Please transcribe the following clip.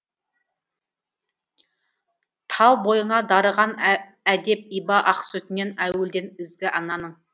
тал бойыңа дарыған әдеп иба ақ сүтінен әуелден ізгі ананың